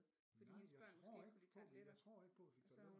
Fordi hendes børn måske ikke kunne lide tarteletter og så har hun